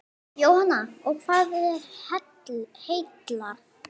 Jóhanna: Og hvað heillar?